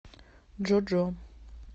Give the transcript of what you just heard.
джо джо